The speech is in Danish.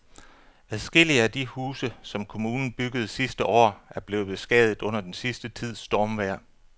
Adskillige af de huse, som kommunen byggede sidste år, er blevet beskadiget under den sidste tids stormvejr.